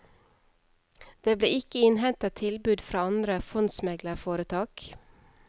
Det ble ikke innhentet tilbud fra andre fondsmeglerforetak.